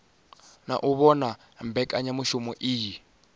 na u vhona mbekanyamushumo iyi